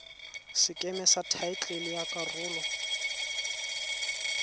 sekeme sa thaetlele ya karolo